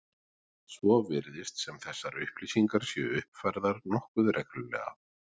Svo virðist sem þessar upplýsingar séu uppfærðar nokkuð reglulega.